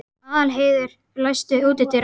Aðalheiður, læstu útidyrunum.